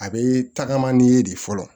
A bee tagama n'i ye de fɔlɔ